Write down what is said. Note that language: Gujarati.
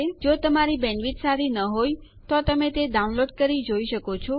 જો તમારી બેન્ડવિડ્થ સારી ન હોય તો તમે તે ડાઉનલોડ કરી જોઈ શકો છો